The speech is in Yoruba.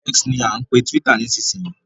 X ni à ń pe túwítà nísìsiyìí